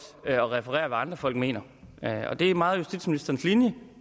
at referere hvad andre folk mener og det er meget justitsministerens linje